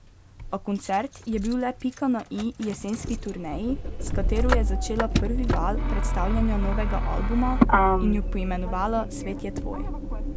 A koncert je bil le pika na i jesenski turneji, s katero je začela prvi val predstavljanja novega albuma, in jo poimenovala Svet je tvoj.